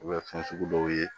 U bɛ fɛn sugu dɔw ye